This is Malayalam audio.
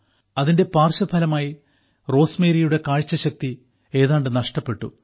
അതിന്റെ പാർശ്വഫലമായി റോസ്മേരിയുടെ കാഴ്ചശക്തി ഏതാണ്ട് നഷ്ടപ്പെട്ടു